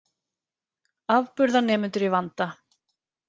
Afburðanemendur í vanda